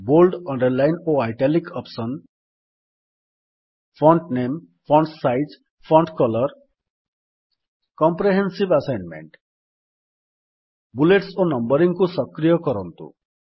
bold underline ଓ italic option font ନାମେ font size font colour comprehensive assignment bullets ଓ Numberingକୁ ସକ୍ରିୟ କରନ୍ତୁ